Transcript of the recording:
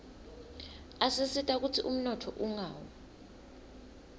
asisita kutsi umnotfo ungawi